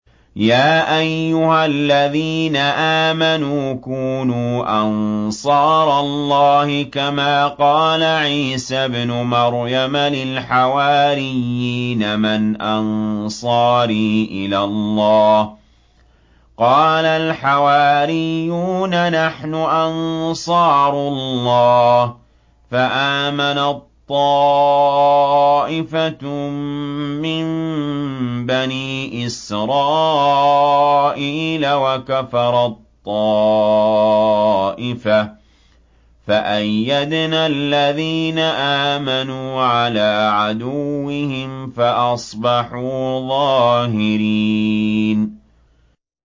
يَا أَيُّهَا الَّذِينَ آمَنُوا كُونُوا أَنصَارَ اللَّهِ كَمَا قَالَ عِيسَى ابْنُ مَرْيَمَ لِلْحَوَارِيِّينَ مَنْ أَنصَارِي إِلَى اللَّهِ ۖ قَالَ الْحَوَارِيُّونَ نَحْنُ أَنصَارُ اللَّهِ ۖ فَآمَنَت طَّائِفَةٌ مِّن بَنِي إِسْرَائِيلَ وَكَفَرَت طَّائِفَةٌ ۖ فَأَيَّدْنَا الَّذِينَ آمَنُوا عَلَىٰ عَدُوِّهِمْ فَأَصْبَحُوا ظَاهِرِينَ